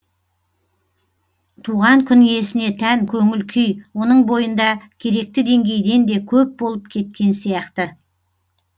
туған күн иесіне тән көңіл күй оның бойында керекті деңгейден де көп болып кеткен сияқты